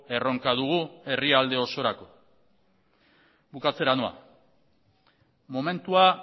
erronka dugu herrialde osorako bukatzera noa momentua